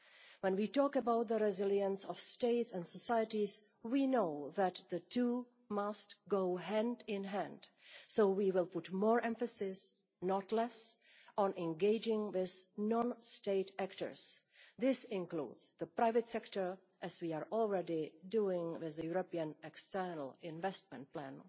When we talk about the resilience of states and societies, we know that the two must go hand in hand, so we will put more emphasis, not less, on engaging these non state actors, including the private sector, as we are already doing with the European External Investment Plan.